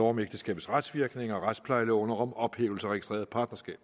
om ægteskabets retsvirkninger og retsplejeloven og om ophævelse registreret partnerskab